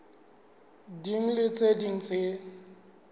ding le tse ding tse